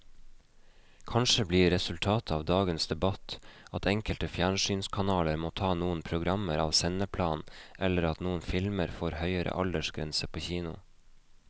Kanskje blir resultatet av dagens debatt at enkelte fjernsynskanaler må ta noen programmer av sendeplanen eller at noen filmer får høyere aldersgrense på kino.